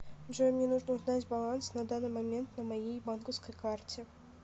джой мне нужно узнать баланс на данный момент на моей банковской карте